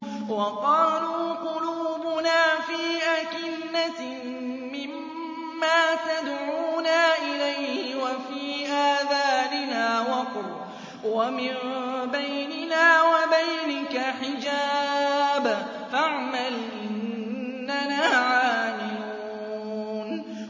وَقَالُوا قُلُوبُنَا فِي أَكِنَّةٍ مِّمَّا تَدْعُونَا إِلَيْهِ وَفِي آذَانِنَا وَقْرٌ وَمِن بَيْنِنَا وَبَيْنِكَ حِجَابٌ فَاعْمَلْ إِنَّنَا عَامِلُونَ